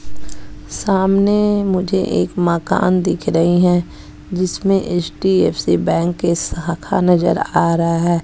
सामने मुझे एक मकान दिख रही है जिसमें एच_डी_एफ_सी बैंक के शाखा नजर आ रहा है।